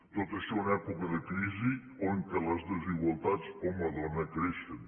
tot això en època de crisi on les desigualtats home dona creixen